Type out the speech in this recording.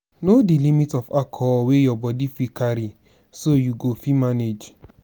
know di limit of alcohol wey your body fit carry so you go fit manage